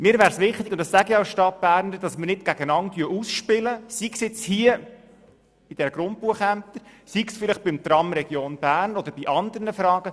Mir ist es wichtig – und dies sage ich als Stadtberner –, dass wir uns nicht gegeneinander ausspielen, sei es wie in diesem Fall bei den Grundbuchämtern, sei es vielleicht beim Tram Region Bern oder bei anderen Fragen.